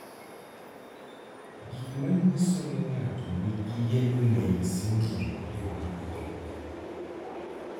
Gik manyiso ni ng'ato nigi yellow nail syndrome gin mage?